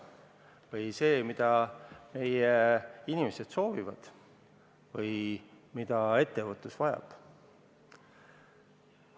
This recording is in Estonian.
Kas see kulub selleks, mida meie inimesed soovivad või mida ettevõtlus vajab?